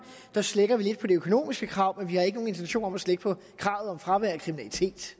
her slækker vi lidt på de økonomiske krav men vi har ikke nogen intention om at slække på kravet om fravær af kriminalitet